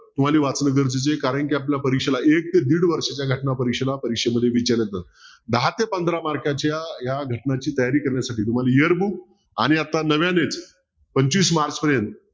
वाचन गरजेचं आहे कारंकी आपल्या परीक्षेला एक ते दीड वर्षाच्या घटना परीक्षेला परीक्षेमध्ये विचारतात दहा ते पंधरा मार्कांच्या या घटनांची तुम्हाला तयारी करण्यासाठी तुम्हाला आणि आत्ता नव्याने पंचवीस मार्च मध्ये